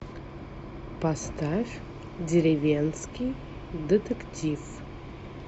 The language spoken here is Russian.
поставь деревенский детектив